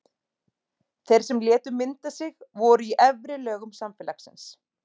Þeir sem létu mynda sig voru úr efri lögum samfélagsins.